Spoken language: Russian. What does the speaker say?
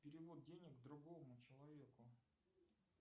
перевод денег другому человеку